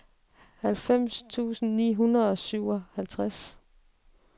halvfems tusind ni hundrede og syvoghalvtreds